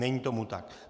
Není tomu tak.